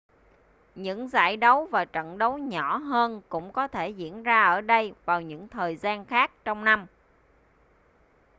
những giải đấu và trận đấu nhỏ hơn cũng có thể diễn ra ở đây vào những thời gian khác trong năm